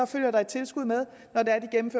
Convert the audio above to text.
følger der et tilskud med